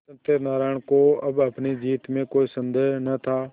सत्यनाराण को अब अपनी जीत में कोई सन्देह न था